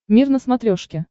мир на смотрешке